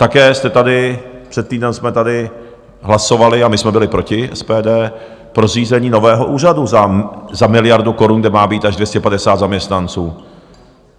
Také jste tady, před týdnem jsme tady hlasovali, a my jsme byli proti, SPD, pro zřízení nového úřadu za miliardu korun, kde má být až 250 zaměstnanců.